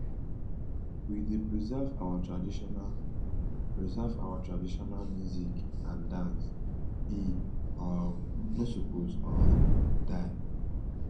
we dey preserve our traditional preserve our traditional music and dance e um no suppose um die